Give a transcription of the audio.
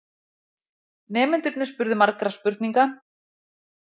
Nemendurnir spurðu margra spurninga.